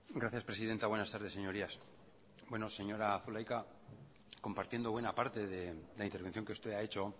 gracias presidenta buenas tardes señorías señora zulaika compartiendo buena parte de la intervención que usted ha hecho